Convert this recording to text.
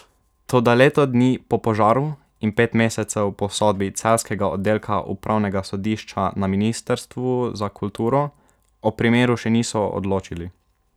Toda leto dni po požaru in pet mesecev po sodbi celjskega oddelka upravnega sodišča na ministrstvu za kulturo o primeru še niso odločili.